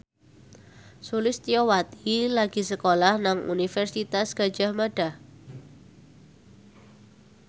Sulistyowati lagi sekolah nang Universitas Gadjah Mada